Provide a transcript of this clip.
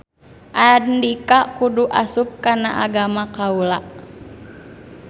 Andika kudu asup kana agama kaula.